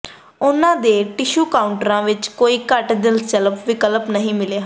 ਉਨ੍ਹਾਂ ਦੇ ਟਿਸ਼ੂ ਕਾਊਂਟਰਾਂ ਵਿਚ ਕੋਈ ਘੱਟ ਦਿਲਚਸਪ ਵਿਕਲਪ ਨਹੀਂ ਮਿਲੇ ਹਨ